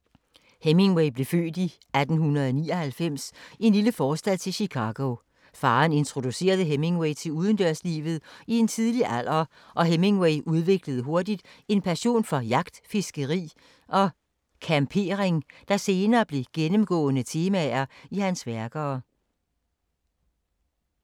Hemingway blev født i 1899 i en lille forstad til Chicago. Faren introducerede Hemingway til udendørslivet i en tidlig alder, og Hemingway udviklede hurtigt en passion for jagt, fiskeri og campering, der senere blev gennemgående temaer i hans værker.